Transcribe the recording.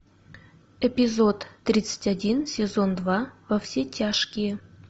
эпизод тридцать один сезон два во все тяжкие